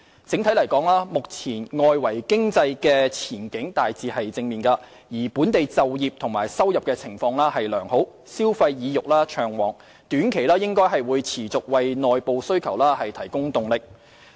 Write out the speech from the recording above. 整體而言，外圍經濟前景目前大致正面，而本地就業及收入情況良好，消費意欲暢旺，短期內可望繼續為內部需求提供動力。